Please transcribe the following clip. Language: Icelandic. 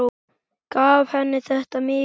Gaf þetta henni mikið.